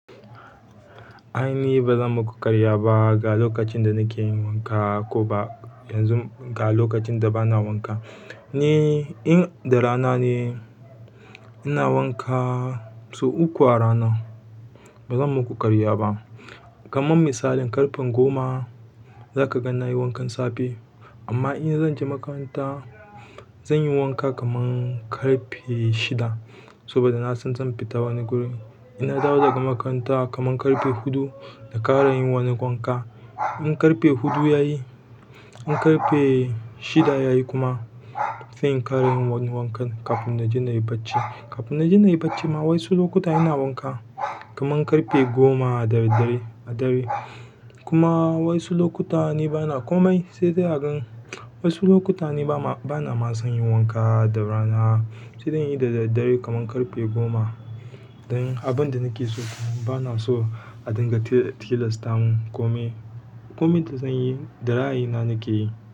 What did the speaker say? A'a ni ba zan maku karya ba ga lokacin da nake yin wanka ko ba yanzu ga lokacin da bana wanka. In da rana ne ina wanka sau uku a rana bazan muku ƙarya ba kaman misali ƙarfe goma za ka ga na yi wankan safe. Amma in zan je makaranta, zan yi wanka kaman ƙarfe shida. Saboda na son zan fita wani guri. Ina dawo daga makaranta kaman ƙarfe huɗu na ƙara yin wani wanka. In ƙarfe huɗu ya yi, in ƙarfe shida ya yi kuma, sai in ƙara yin wani wankan kafin na ji na yi bacci. Kafin mu bacci ma wasu lokuta ina wanka kaman ƙarfe goma da daddare a dare, kuma wasu lukuta ni bana komai sai dai agan wasu lokutan ni bana son yin wanka ma da rana sai dai inyi da daddare kamar ƙarfe goma don abin da nake so bana so a dinga tilasta mun komai. Komai da zan yi da ra'ayi nake yi.